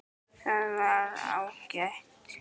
Það var ágætt.